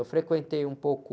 Eu frequentei um pouco...